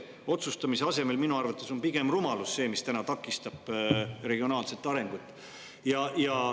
asemel on minu arvates pigem rumalus see, mis takistab regionaalset arengut.